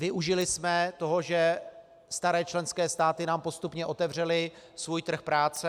Využili jsme toho, že staré členské státy nám postupně otevřely svůj trh práce.